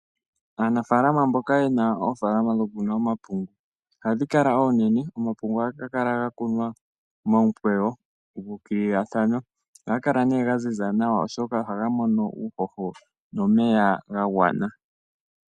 Aanafaalama mboka yena oofaalama dhoku kuna omapungu ohadhi kala oonene. Omapungu ohaga kala ga kunwa momukweyo ga ukililathana ohaga kala nee ga ziza nawa oshoka ohaga mono uuhoho nomeya ga gwana.